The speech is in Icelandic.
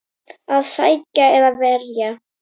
Að sækja eða verja?